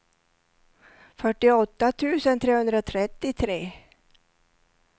fyrtioåtta tusen trehundratrettiotre